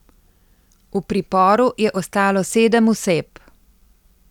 V priporu je ostalo sedem oseb.